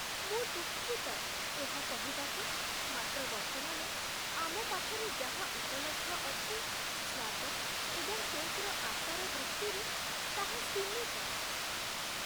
ମୁଁ ଦୁଃଖିତ ଏହା କହିବାକୁ, ମାତ୍ର ବର୍ତ୍ତମାନ ଆମ ପାଖରେ ଯାହା ଉପଲବ୍ଧ ଅଛି, ସ୍ୱାଦ ଏବଂ କେକ୍‌ର ଆକାର ଦୃଷ୍ଟିରୁ ତାହା ସୀମିତ ।